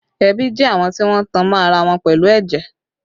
Ẹbí jẹ́ àwọn tí wọ́n tan mọ́ ara wọn pẹ̀lú ẹ̀jẹ̀